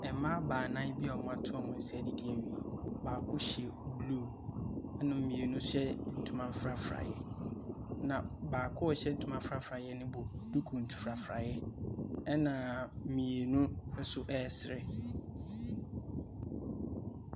Mmaa baanan bi a wɔato wɔn nsa adidi awie. Baako hyɛ blue, ɛnaa mmienu nso hyɛ ntoma frafraeɛ, na baako a ɔhyɛ ntoma frafraeɛ no bɔ duku frafraeɛ, ɛnna mmienu nso resere.